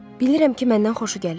Bilirəm ki, məndən xoşu gəlir.